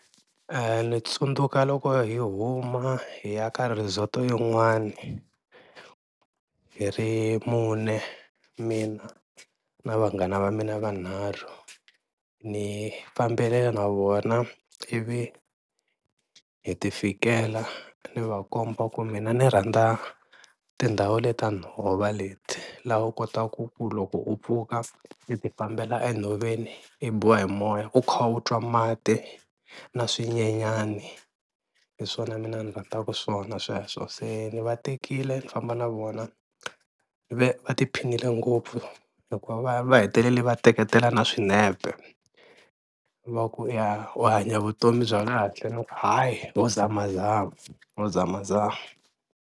Ni tsundzuka loko hi huma hi ya ka resort yin'wani hi ri mune, mina na vanghana va mina vanharhu ni fambele na vona ivi hi ti fikela ni va komba ku mina ni rhandza tindhawu leta nhova leti, laha u kotaku ku loko u pfuka i ti fambela enhoveni i biwa hi moya u kha u twa mati na swinyenyani, hi swona mina a ni rhandzaka swona sweswo, se ni va tekile ni famba na vona ve va tiphinile ngopfu hikuva va va hetelele va teketela na swinepe, va ku ya u hanya vutomi bya kahle ni ku hayi nho zamazama nho zamazama.